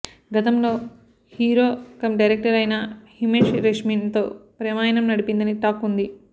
గతంలో hero cum director అయిన హిమేష్ రేష్మిన్ తో ప్రేమాయణం నడిపిందని టాక్ ఉంది